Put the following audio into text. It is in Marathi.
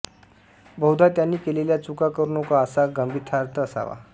बहुधा त्यांनी केलेल्या चुका करू नका असा गर्भितार्थ असावा